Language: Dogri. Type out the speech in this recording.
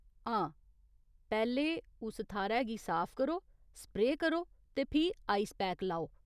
हां, पैह्‌लें उस थाह्‌रै गी साफ करो, स्प्रेऽ करो ते फ्ही आइस पैक लाओ।